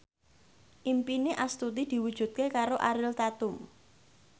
impine Astuti diwujudke karo Ariel Tatum